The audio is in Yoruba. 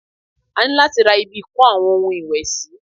A ní láti ra ibi ìko àwọn ohun ìwẹ̀ sì.